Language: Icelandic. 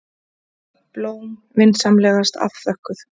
Blóm vinsamlegast afþökkuð.